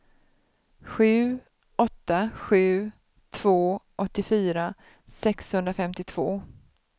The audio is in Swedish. sju åtta sju två åttiofyra sexhundrafemtiotvå